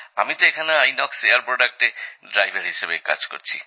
আমি তো এখানে আইএনওএক্স এয়ার প্রোডাক্টে ড্রাইভার হিসাবে কাজ করছি